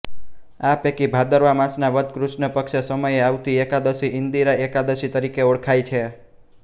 આ પૈકી ભાદરવા માસના વદ કૃષ્ણ પક્ષ સમયે આવતી એકાદશી ઈન્દિરા એકાદશી તરીકે ઓળખાય છે